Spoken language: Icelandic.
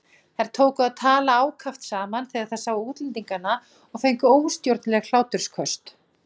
Þær tóku að tala ákaft saman þegar þær sáu útlendingana og fengu óstjórnleg hlátursköst.